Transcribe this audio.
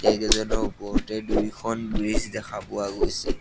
এইকেইজনৰ ওপৰতে দুইখন ব্ৰীজ দেখা পোৱা গৈছে।